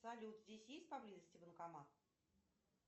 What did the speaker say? салют здесь есть поблизости банкомат